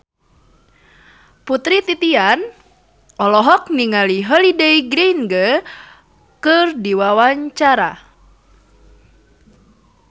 Putri Titian olohok ningali Holliday Grainger keur diwawancara